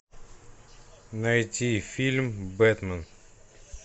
найти фильм бэтмен